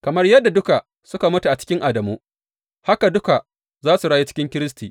Kamar yadda duka suka mutu cikin Adamu, haka duka za su rayu cikin Kiristi.